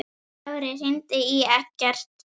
Dóri, hringdu í Eggert.